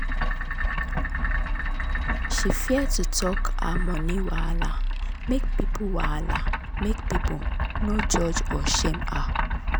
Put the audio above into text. she fear to talk her money wahala make people wahala make people no judge or shame her.